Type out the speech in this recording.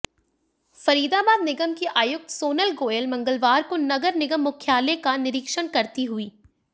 फरीदाबाद निगम की आयुक्त सोनल गोयल मंगलवार को नगर निगम मुख्यालय का निरीक्षण करती हुईं